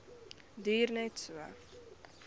duur net so